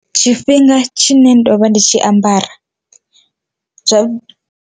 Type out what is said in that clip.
Tshifhinga thsine ndovha ndi tshi ambara zwa.